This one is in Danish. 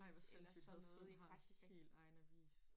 Ej hvor sindssygt Hadsund har helt egen avis